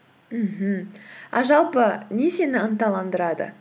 мхм а жалпы не сені ынталандырады